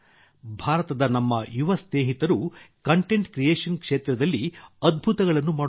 ಭಾರತದ ನಮ್ಮ ಯುವ ಸ್ನೇಹಿತರು ಕಂಟೆಂಟ್ ಕ್ರಿಯೇಷನ್ ಕ್ಷೇತ್ರದಲ್ಲಿ ಅದ್ಭುತಗಳನ್ನು ಮಾಡುತ್ತಿದ್ದಾರೆ